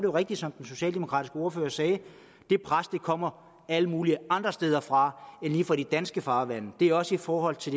er rigtigt som den socialdemokratiske ordfører sagde at det pres kommer alle mulige andre steder fra end lige fra de danske farvande det er også i forhold til